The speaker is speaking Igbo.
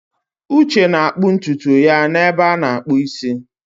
Uche na-akpụ ntutu ya n'ebe a na-akpụ isi.